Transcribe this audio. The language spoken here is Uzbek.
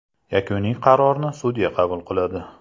Yakuniy qarorni sudya qabul qiladi.